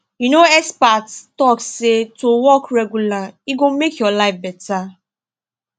you know experts talk say to walk regular e go make your life better